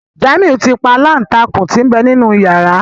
Jamiu tí pa Aláǹtakùn tí n'be nínú yàrá.